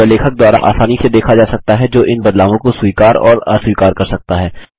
यह लेखक द्वारा आसानी से देखा जा सकता है जो इन बदलावों को स्वीकार और अस्वीकार कर सकता है